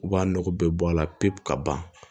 U b'a nɔgɔ bɛɛ bɔ a la pewu ka ban